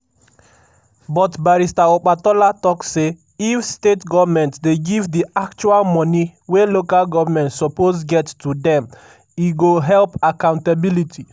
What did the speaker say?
but barrister opatola tok say if state goments dey give di actual moni wey local goments suppose get to dem e go help accountability.